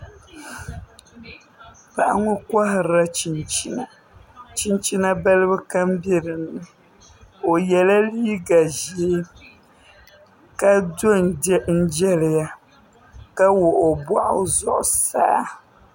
Paɣa ŋo koharila chinchina chinchina balibu kam bɛ dinni o yɛla liiga ʒiɛ ka do n jɛliya ka wuɣi o boɣu zuɣusaa